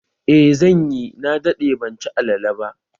Eh zanyi, na daɗe ban ci alale ba